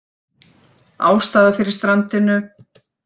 Ástæða fyrir strandinu